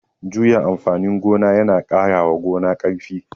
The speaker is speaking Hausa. Juya amfanin gona ya na ƙarawa gona ƙarfi